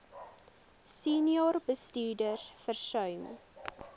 senior bestuurders versuim